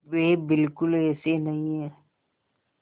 वे बिल्कुल ऐसे नहीं हैं